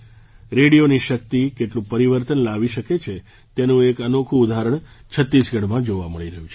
રેડિયોની શક્તિ કેટલું પરિવર્તન લાવી શકે છે તેનું એક અનોખું ઉદાહરણ છત્તીસગઢમાં જોવા મળી રહ્યું છે